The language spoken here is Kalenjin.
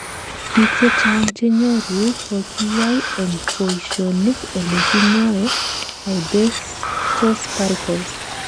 biik chechang chenyoru kokikoyai en boishonik ole kikoyee asbestos particles